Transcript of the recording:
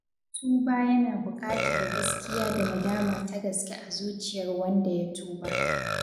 Tuba yana buƙatar gaskiya da nadama ta gaske a zuciyar wanda ya tuba.